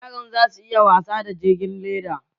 Yaran za su iya wasa da jirgin leda